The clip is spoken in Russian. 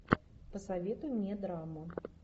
посоветуй мне драму